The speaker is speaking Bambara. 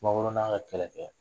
Sumaworo n'a ka kɛlɛ kɛ